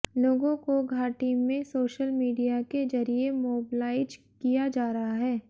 लोगों को घाटी में सोशल मीडिया के जरिए मोबलाइज किया जा रहा है